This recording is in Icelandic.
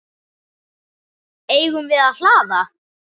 Eigum við að hlaða?